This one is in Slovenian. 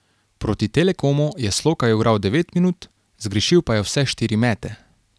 Proti Telekomu je Slokar igral devet minut, zgrešil pa je vse štiri mete.